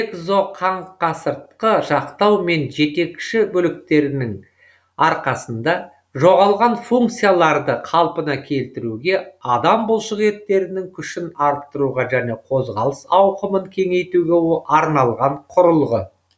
экзоқаңқасыртқы жақтау мен жетекші бөліктердің арқасында жоғалған функцияларды қалпына келтіруге адам бұлшық еттерінің күшін арттыруға және қозғалыс ауқымын кеңейтуге арналған құрылғы